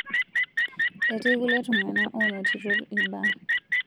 Etii kulie tung'ana oonotito ilbaa